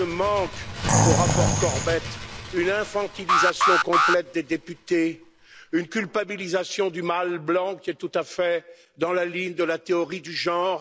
Rien ne manque au rapport Corbett une infantilisation complète des députés, une culpabilisation du mâle blanc, qui est tout à fait dans la ligne de la théorie du genre